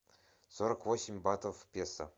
сорок восемь батов в песо